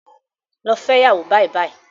Lọ fẹ́ iyàwó bàìbàì